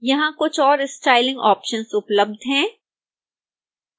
यहां कुछ और स्टाइलिंग ऑप्शन्स उपलब्ध हैं